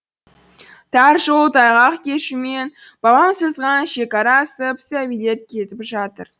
тар жол тайғақ кешумен бабам сызған шекара асып сәбилер кетіп жатыр